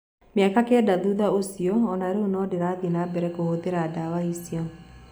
Mĩaka kenda thutha ũcio, o na rĩu no ndĩrathiĩ na mbere kũhũthĩra ndawa icio.